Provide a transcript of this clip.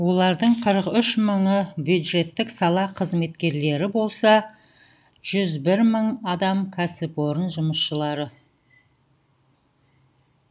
олардың қырық үш мыңы бюджеттік сала қызметкерлері болса жүз бір мың адам кәсіпорын жұмысшылары